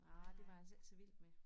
Arh det var jeg så ikke så vild med